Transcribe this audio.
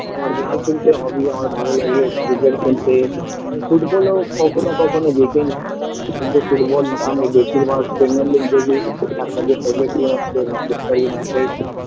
আমার গান শুনতে hobby আমার ভালো লাগে ক্রিকেট খেলতে আমি football - ও কখনো কখনো দেখেনি কিন্তু football আমি বেশির ভাগ premier League দেখি তার মধ্যে favourite team হচ্ছে ম্যাঞ্চেস্টার উনিটেড